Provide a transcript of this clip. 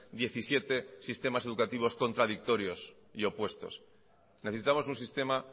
diecisiete sistemas educativos contradictorios y opuestos necesitamos un sistema